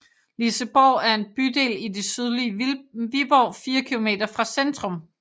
Liseborg er en bydel i det sydlige Viborg 4 km fra centrum